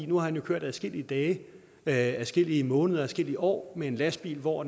nu har han jo kørt adskillige dage dage adskillige måneder adskillige år med en lastbil hvor